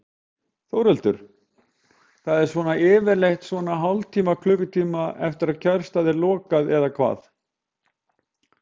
Þórhildur: Það er svona yfirleitt svona hálftíma, klukkutíma eftir að kjörstað er lokað eða hvað?